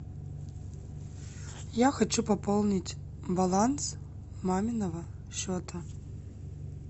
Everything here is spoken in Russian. я хочу пополнить баланс маминого счета